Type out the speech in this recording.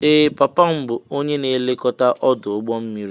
Ee! Papa m bụ onye na-elekọta ọdụ̀ ụgbọ mmiri.